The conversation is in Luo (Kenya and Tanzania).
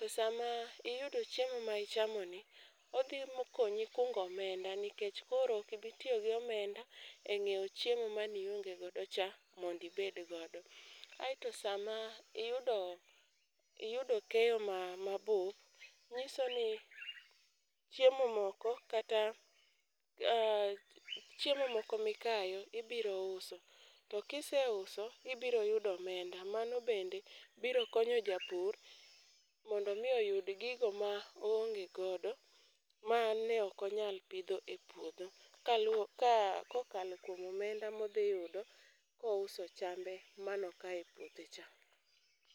To sama iyudo chiemo ma ichamoni, odhi konyi kungo omenda nikech koro ok ibitiyo gi omenda e nyiewo chiemo manionge godo cha mondo ibed godo. Aeto sama iyudo keyo mabup, nyiso ni chiemo moko kata chiemo moko mikayo ibiro uso, to kiseuso, ibiro yudo omenda. Mano bende biro konyo japur mondo omi oyud gigo ma oonge godo ma ne ok onyal pidho e puodho, kokalo kuom omenda modhiyudo kouso chambe manokayo e puodho cha.